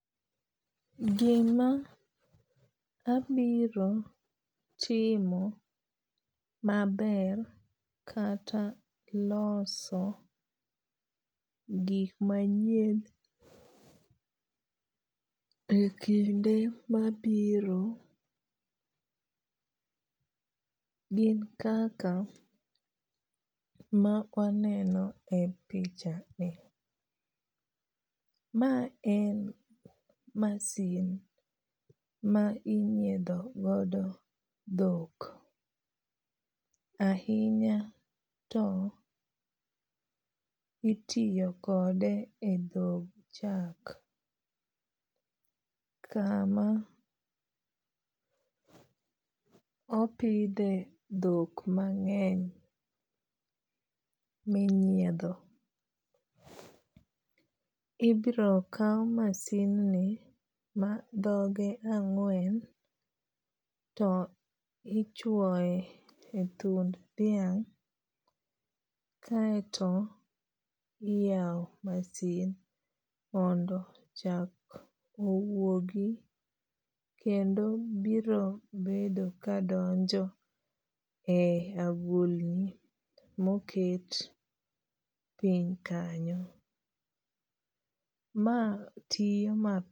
Gima abiro timo maber kata loso gik manyien e kinde mabiro gin kaka ma waneno e picha ni. Ma en masin ma inyiedho godo dhok. Ahinya to itiyo kode e dhog chak kama opidhe dhok mang'eny minyiedho. Ibiro kaw masin ni ma dhoge ang'wen to ichwoye e thund dhiamg' kaeto iyaw masin mondo chak owuogi kendo biro bedo kadonjo e agulni moket piny kanyo. Ma tiyo.